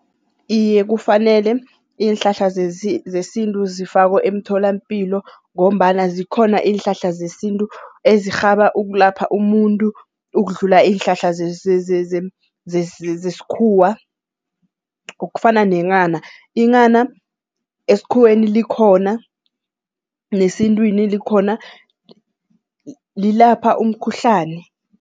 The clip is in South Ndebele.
Iye kufanele, iinhlahla zesintu zifakwe emtholampilo ngombana zikhona iinhlahla zesintu ezirhaba ukulapha umuntu ukudlula iinhlahla zesikhuwa, okufana nenghana. Inghana esikhuweni likhona nesintwini likhona lilapha umkhuhlani.